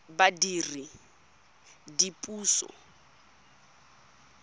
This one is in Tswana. badiredipuso